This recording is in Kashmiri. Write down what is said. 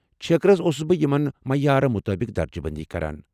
چھیكرس اوسُس بہٕ یمن معیارٕ مطٲبق درجہٕ بندی کران۔